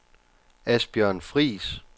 Asbjørn Friis